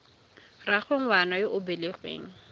rraagwe ngwana yo o belegweng